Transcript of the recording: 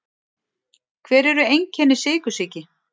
Hver eru einkenni sykursýki?